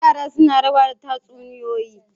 Yara suna rawa da tatsuniyoyi.